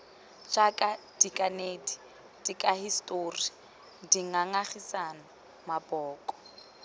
jaaka dikanedi dikahisetori dingangisano maboko